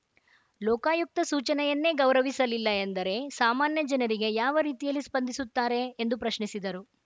ಲೋಕಾಯುಕ್ತ ಸೂಚನೆಯನ್ನೇ ಗೌರವಿಸಲಿಲ್ಲ ಎಂದರೆ ಸಾಮಾನ್ಯ ಜನರಿಗೆ ಯಾವ ರೀತಿಯಲ್ಲಿ ಸ್ಪಂದಿಸುತ್ತಾರೆ ಎಂದು ಪ್ರಶ್ನಿಸಿದರು